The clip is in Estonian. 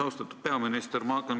Austatud peaminister!